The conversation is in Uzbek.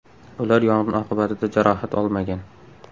Ular yong‘in oqibatida jarohat olmagan.